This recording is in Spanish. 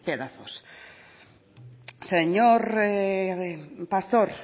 pedazos señor pastor